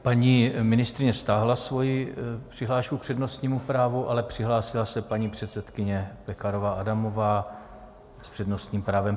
Paní ministryně stáhla svoji přihlášku k přednostnímu právu, ale přihlásila se paní předsedkyně Pekarová Adamová s přednostním právem.